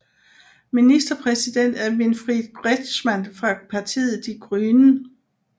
Ministerpræsident er Winfried Kretschmann fra partiet Die Grünen